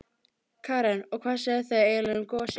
Karen: Og hvað segja þau eiginlega um gosið?